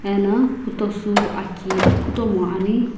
ena putosü aki kutomu ani.